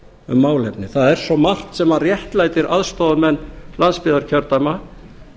um málefni það er svo margt sem réttlætir aðstoðarmenn landsbyggðarkjördæma